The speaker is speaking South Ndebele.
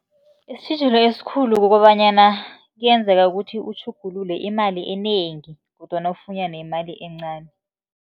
Isitjhijilo esikhulu kukobanyana, kuyenzeka ukuthi utjhugulule imali enengi kodwana ufunyane imali encani.